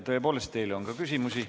Tõepoolest, teile on ka küsimusi.